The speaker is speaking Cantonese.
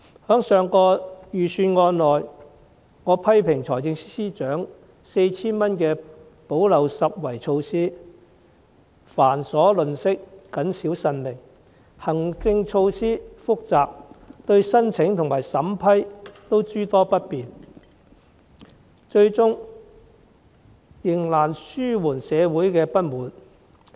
在上一份預算案，我批評財政司司長 4,000 元的補漏拾遺措施繁瑣吝嗇，謹小慎微，行政措施複雜，對申請和審批都諸多不便，最終仍難紓緩社會的不滿。